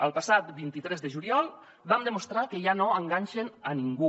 el passat vint tres de juliol van demostrar que ja no enganyen ningú